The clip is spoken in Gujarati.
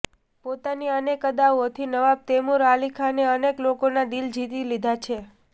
પોતાની અનેક અદાઓથી નવાબ તૈમુર અલીખાને અનેક લોકોનાં દિલ જીતી લીધા છે